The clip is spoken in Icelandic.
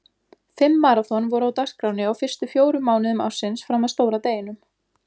Fimm maraþon voru á dagskránni á fyrstu fjórum mánuðum ársins fram að stóra deginum.